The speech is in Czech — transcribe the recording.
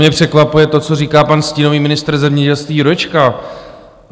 Mě překvapuje to, co říká pan stínový ministr zemědělství Jurečka.